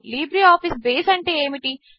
LibreOffice Base అంటే ఏమిటి